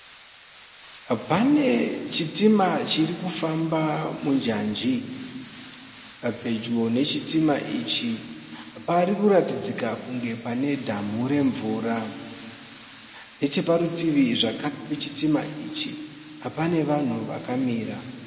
Pane chitima chiri kufamba munjanji. Pedyo nechitima ichi pari kuratidzika kunge pane dhamu remvura. Neche parutivi zvekare pechitima ichi pane vanhu vakamira.